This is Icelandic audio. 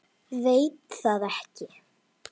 Veit það ekki.